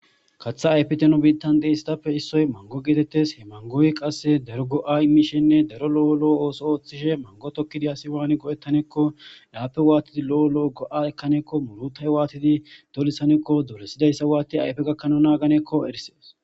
kaththa ayfiteno biittan de isitappe issoy mango geetettes he mangoyi qasse derogo7a imishenne daro lo7o lo7o ooso ooththishe mango tokki diasi waani go7ettanekko lappe waatidi lo7o lo7o go7a ekaneekko murutay waatidi dolisaneekko duresidayssa waati ayfe gakkana naaganeekko erisees